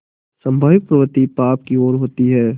स्वाभाविक प्रवृत्ति पाप की ओर होती है